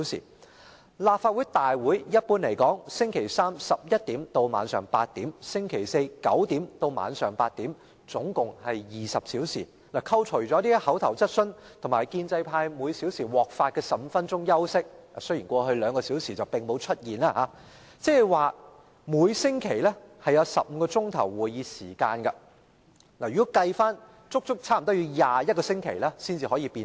一般來說，立法會會議在周三早上11時開始至晚上8時，周四早上9時至晚上8時舉行，合共20小時，扣除口頭質詢及建制派議員每小時獲發的15分鐘休息時間計算——雖然這情況在過去兩小時並沒有出現——即每周有15小時會議時間，差不多要足足21周才能完成相關辯論。